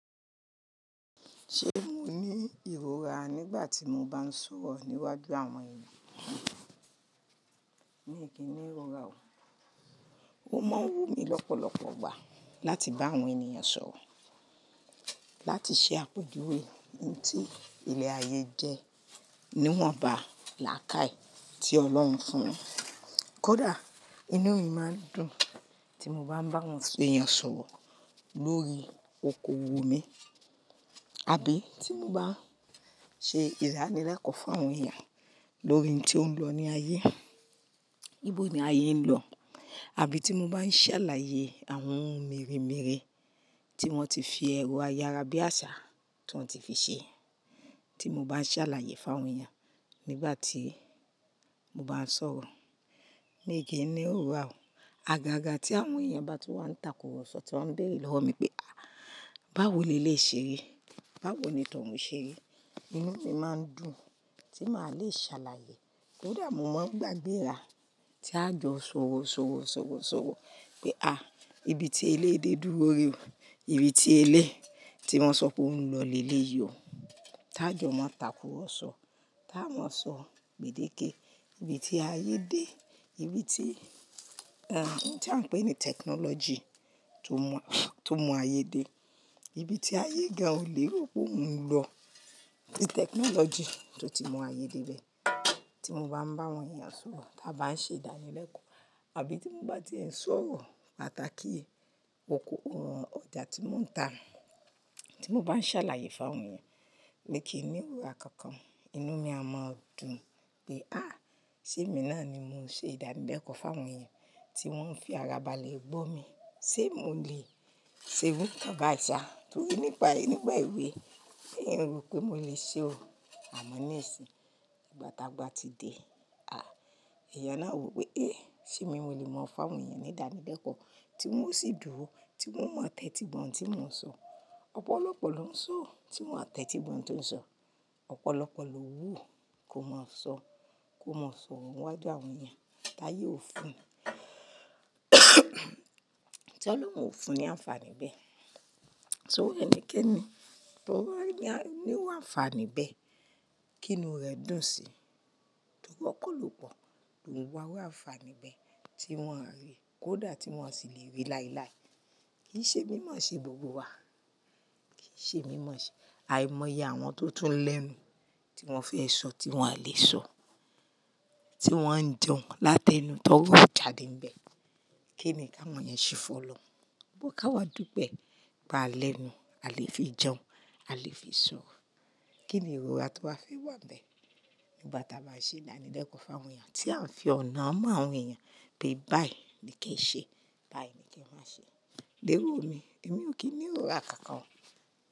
Ṣé mo ní ìrora nígbà tí mo bá ń sọ̀rọ̀ níwájú àwọn ènìyàn? Mi kì í ní ìrora o. Ó máa ń wù mí lọ́pọ̀lọpọ̀ igbà láti bá àwọn ènìyàn sọ̀rọ̀, láti ṣe àpèjúwe ohun tí ile ayé jẹ́, níwọ̀nba làákàye tí Ọlọ́run fún un. Kódà inú mi máa ń dùn tí mo bá ń bá àwọn èèyàn sọ̀rọ̀ lórí okoòwò mi. Àbí tí mo bá ṣe ìdánilẹ́kọ̀ọ́ fún àwọn èèyàn lórí ohun tí ó ń lọ ní ayé. Bíbó ni ayé ń lọ. Àbí tí mo bá ń ṣàlàyé àwọn ohun mere'mere tí wọ́n ti fi ẹ̀rọ ayára bí àṣá tó ti fi ṣe. Tí mo bá ń ṣàlàyé fún àwọn èèyàn nígbà tí mo bá ń sọ̀rọ̀. Mi kì í ní ìrora o. Àgàgà tí àwọn èèyàn bá ti wà ń takùrọ̀sọ tí wọ́n ń bèére lọ́wọ́ mi pé, à, báwo le lè'yi ṣe ri? Báwo ni tọ̀ wún ṣe ri? Inú mi máa ń dùn tí màá le ṣàlàyé. Kódà mo máa ń gbàgbé ara tí a jọ́, ṣòrò ṣòrò ṣòrò ṣòrò pé, à, ibi tí eléyi dé dúró rè o. Ibi tí eléyi tí wọ́n sọ pé ó ń lọ lè léyì o. Tá jọ̀ọ́ máa takùrọ̀sọ. Táà máa sọ gbèdéke. Ibi tí ayé dé. Ibi tí, ẹ́, tí à ń pè ní tẹkinọ́lọ́jì tó mu, tó mu ayé dé. Ibi tí ayé gan-an o lè ro pé ó ń lọ. Tí tẹkinọ́lọ́jì tó ti mu ayé dé bẹ. Tí mo bá ń bá àwọn èèyàn sọ̀rọ̀, tí a bá ń ṣe ìdánilẹ́kọ̀ọ́. Àbí tí mo bá ti ń sọ̀rọ̀ pàtàkì okoòwò ọjà tí mò ń ta. Tí mo bá ń ṣàlàyé fún àwọn èèyàn pé kí í ní ìrora kankan. Inú mi a máa dùn pé, à, ṣé èmi náà ni mo ṣe ìdánilẹ́kọ̀ọ́ fún àwọn èèyàn tí wọ́n ń fi ara ba lè gbọ́ mi? SE mo lè ṣe ru kan bá i ṣá? Torí nígbà, nígbà èwe, mi un rò pé mo lè ṣe o. Àmọ́ níìsín, ìgbà tá a gba ti dé, à, èèyàn náà wò pé, "Eh, ṣé mi mo lè mọ̀ fún àwọn èèyàn ní ìdánilẹ́kọ̀ọ́ tí wọ́n ó sì dúró, tí wọ́n ó mọ̀ tẹ́ti igbo ohun tí mò ń sọ? Ọ̀pọ̀lọpọ̀ ló ń sọ̀ọ́ tí wọ́n kò mọ̀ tẹ́tí igbo ohun tó ń sọ. Ọ̀pọ̀lọpọ̀ ló wù kó máa sọ, kó máa sọ'ro ni wájú àwọn èèyàn. Táyé ò fún. Tolòrun ò fún ní àǹfààní bẹ́ẹ̀. Torí ẹnikẹ́ni tó bá ní, níru àǹfààní bẹ́ẹ̀, kí inú rẹ̀ dùn sí. Torí ọ̀pọ̀lọpọ̀ ló ń wá wò àǹfààní bẹ́ẹ̀ tí wọ́n rí. Kódà tí wọ́n sì lè rí láilái. Kì í ṣe mímọ̀ ṣe gbogbo wa. Kì í ṣe mímọ̀ ṣe. Àìmọ̀ iye àwọn tó tún lẹ́nu tí wọ́n fẹ́ sọ tí wọ́n à lè sọ. Tí wọ́n ń jeun láti ẹnu t'òrò jáde nbẹ̀. Kí ni k'áwọn yẹn ṣe fún ọlọrun? But k'áwa dúpe, pe a lẹ́nu, a lè fi jẹun, a lè fi sọ̀rọ̀. Kí ni ìrora tó wá fẹ́ wà níbẹ̀? Nígbà táa bá ṣe ìdánilẹ́kọ̀ọ́ fún àwọn èyàn, tí à ń fi ọ̀nà han àwọn èyàn pé báyìí ni kí ẹ ṣe, báyìí ni kí ẹ má ṣe. Léwu o mi. Èmi ò kí í ní ìrora kankan.